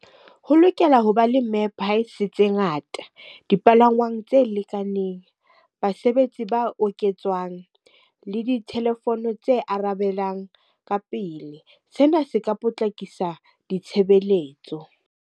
Ho lokela ho ba le tse ngata, dipalangwang tse lekaneng, basebetsi ba oketswang, le di-telephone tse arabelang ka pele. Sena se ka potlakisa ditshebeletso.